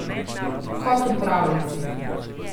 Kot v pravljici.